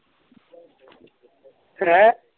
ਹੈਂ